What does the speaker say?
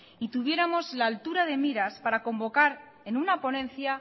y tuviéramos la altura de miras para convocar en una ponencia